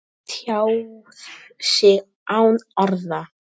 Tjáð sig án orða